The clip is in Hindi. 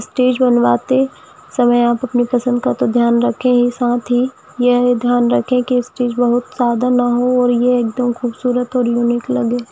स्टेज बनवाते समय आप अपने पसंद का तो ध्यान रखें ही साथ ही यह ध्यान रखे की उस चीज बहुत ज्यादा ना हो ये एकदम खूबसूरत और यूनिक लगे।